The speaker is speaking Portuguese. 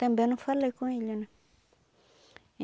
Também não falei com ele, né?